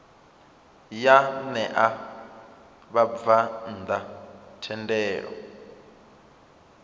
ya ṋea vhabvann ḓa thendelo